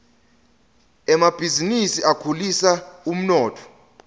emabhizinisi akhulisa umnotfo